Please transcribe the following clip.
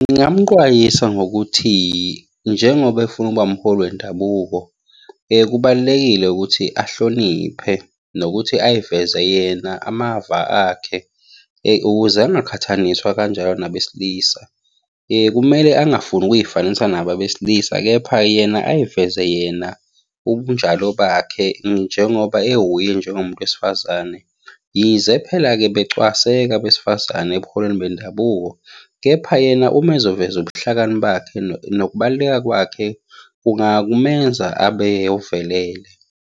Ngingamuqwayisa ngokuthi, njengoba efuna ukuba umholi wendabuko, kubalulekile ukuthi ahloniphe nokuthi ay'veze yena amava akhe, ukuze angaqhathaniswa kanjalo nabesilisa. Kumele angafuni ukuy'fanisa nabo abesilisa, kepha yena ay'veze yena ubunjalo bakhe njengoba ewuye njengomuntu wesifazane. Yize phela-ke becwaseka abesifazane ebuholini bendabuko, kepha yena uma ezoveza ubuhlakani bakhe, nokubaluleka kwakhe kungamenza abe ovelele.